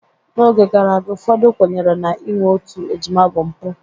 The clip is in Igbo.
N'oge gara aga, ụfọdụ kwenyere na inwe otu ejima bụ mpụ